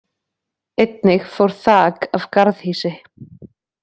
Einnig fór þak af garðhýsi